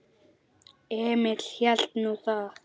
Emil hélt nú það.